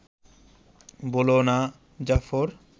বোলো না, জাফর